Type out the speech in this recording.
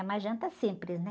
É uma janta simples, né?